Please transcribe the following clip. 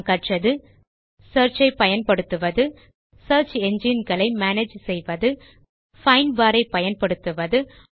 நாம் கற்றது சியர்ச் ஐ பயன்படுத்துவது சியர்ச் என்ஜின் களை மேனேஜ் செய்வது பைண்ட் பார் ஐ பயன்படுத்துவது